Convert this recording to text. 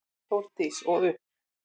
Þórdís: Og upp?